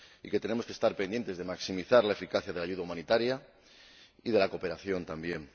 y que tenemos que estar pendientes de maximizar la eficacia de la ayuda humanitaria y de la cooperación también